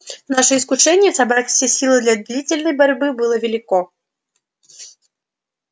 наше искушение собрать все силы для длительной борьбы было велико